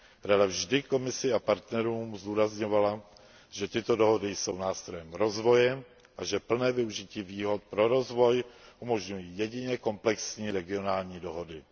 Rada vždy Komisi a partnerům zdůrazňovala, že tyto dohody jsou nástrojem rozvoje a že plné využití výhod pro rozvoj umožňují jedině komplexní regionální dohody.